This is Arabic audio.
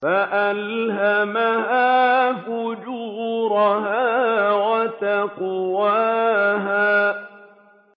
فَأَلْهَمَهَا فُجُورَهَا وَتَقْوَاهَا